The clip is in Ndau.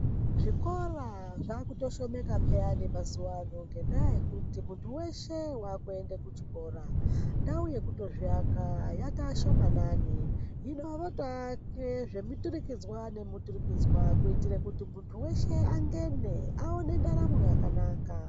Zvikora zvakutoshomeka peyani mazuva ano ngenda yekuti muntu weshe akuenda kuchikora ndau yekutozviaka yatoshomanana hino votoaka zvemuturikidzwa zvemuturikidzwa kuitira kuti muntu weshe angene aone ndaramo yakanaka.